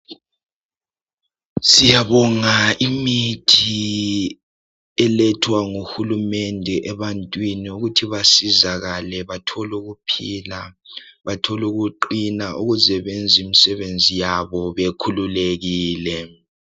Siyabonga imithi elethwa nguhulumende ebantwini ukuthi basizakale bathole ukuphila, bathole ukuqina .Ukuze benze imsebenzi yabo bekhululekile .